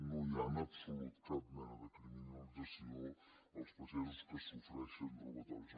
no hi ha en absolut cap mena de criminalització als pagesos que pateixen robatoris